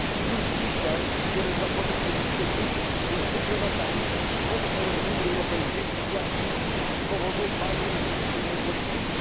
Już dzisiaj wiele zakładów produkcyjnych jest wyprowadzanych poza teren Unii Europejskiej właśnie z powodu bardzo restrykcyjnej polityki.